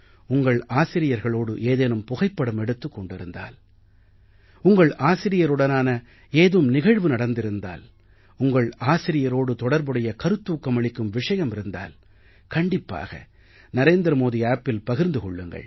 உங்கள் ஆசிரியர்களோடு ஏதேனும் புகைப்படம் எடுத்துக் கொண்டிருந்தால் உங்கள் ஆசிரியருடனான ஏதும் நிகழ்வு நடந்திருந்தால் உங்கள் ஆசிரியரோடு தொடர்புடைய கருத்தூக்கம் அளிக்கும் விஷயம் இருந்தால் கண்டிப்பாக narendramodiappஇல் பகிர்ந்து கொள்ளுங்கள்